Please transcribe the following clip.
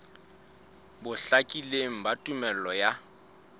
bo hlakileng ba tumello ya